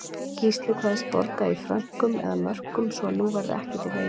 Gísli kveðst borga í frönkum eða mörkum svo að nú verði ekkert í veginum.